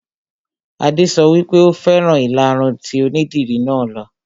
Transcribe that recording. Adé sọ wípé "Ò fẹ́ràn ìlaru tí onídìri náà lo '.